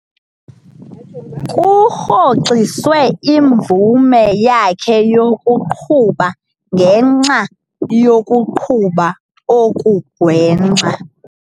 Kurhoxiswe imvume yakhe yokuqhuba ngenxa yokuqhuba okugwenxa.